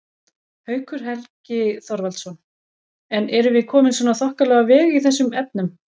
Haukur Helgi Þorvaldsson: En erum við komin svona þokkalega á veg í þessum efnum?